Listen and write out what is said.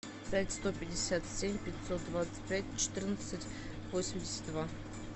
пять сто пятьдесят семь пятьсот двадцать пять четырнадцать восемьдесят два